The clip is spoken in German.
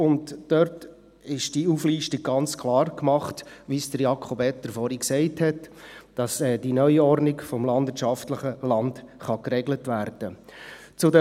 Die Auflistung ist ganz klar gemacht – so, wie es Jakob Etter vorhin gesagt hat –, sodass die Neuordnung des landwirtschaftlichen Landes geregelt werden kann.